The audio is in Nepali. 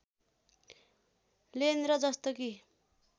लेन र जस्तो कि